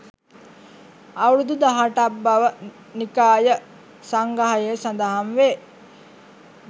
අවුරුදු 18 ක් බව නිකාය සංග්‍රහයේ සඳහන් වේ.